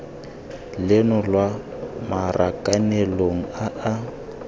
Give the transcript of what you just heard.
leno lwa marakanelong a a